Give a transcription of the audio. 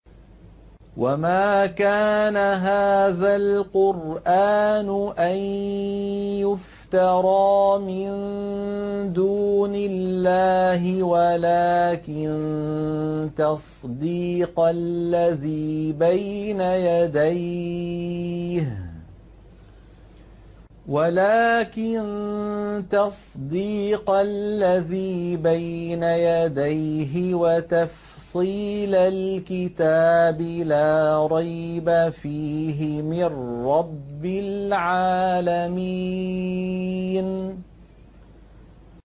وَمَا كَانَ هَٰذَا الْقُرْآنُ أَن يُفْتَرَىٰ مِن دُونِ اللَّهِ وَلَٰكِن تَصْدِيقَ الَّذِي بَيْنَ يَدَيْهِ وَتَفْصِيلَ الْكِتَابِ لَا رَيْبَ فِيهِ مِن رَّبِّ الْعَالَمِينَ